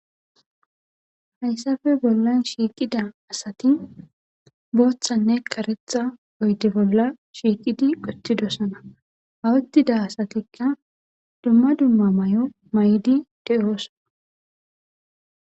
hayssafe bollan shiiqida asati booththanne karetha oyde bolla shiiqidi uttidosona hauttida asatikka dumma dumma may7o maydi de'oosona